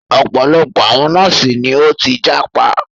Ọ̀pọ̀lọpọ̀ àwọn nọ́ọ̀sì ni o tí jápa.